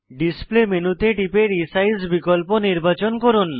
display মেনুতে টিপে resize বিকল্প নির্বাচন করুন